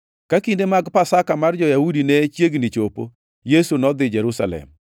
Ka kinde mag Pasaka mar jo-Yahudi ne chiegni chopo, Yesu nodhi Jerusalem.